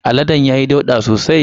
Aladen ya yi ɗauda sosai.